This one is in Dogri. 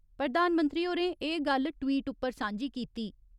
प्रधानमंत्री होरें एह् गल्ल ट्वीट उप्पर सांझी कीती।